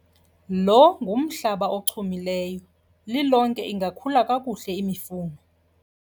Lo ngumhlaba ochumileyo, lilonke ingakhula kakuhle imifuno.